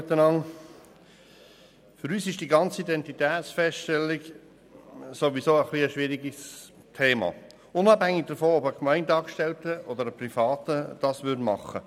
Für uns ist diese ganze Identitätsfeststellung sowieso ein schwieriges Thema, unabhängig davon, ob es ein Gemeindeangestellter oder ein Privater macht.